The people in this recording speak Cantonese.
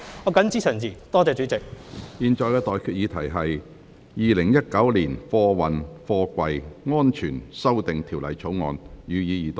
我現在向各位提出的待決議題是：《2019年運貨貨櫃條例草案》，予以二讀。